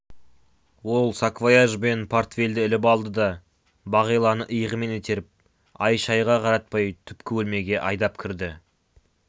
ол саквояж бен портфельді іліп алды да бағиланы иығымен итеріп ай-шайға қаратпай түпкі бөлмеге айдап кірді